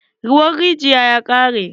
Ruwan rijiyan ya ƙare.